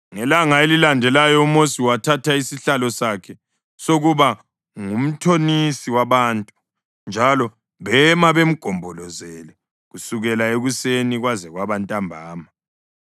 Ngelanga elilandelayo uMosi wathatha isihlalo sakhe sokuba ngumthonisi wabantu, njalo bema bemgombolozele kusukela ekuseni kwaze kwaba ntambama.